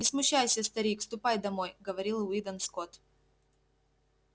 не смущайся старик ступай домой говорил уидон скотт